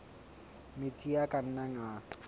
metsi a ka nnang a